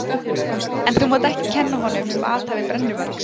En þú mátt ekki kenna honum um athæfi brennuvargs.